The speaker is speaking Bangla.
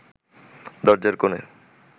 দরজার কোণে